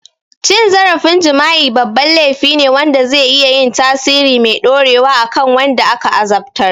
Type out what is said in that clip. Cin zarafin jima'i babban laifi ne wanda zai iya yin tasiri mai dorewa a kan wanda aka azabtar.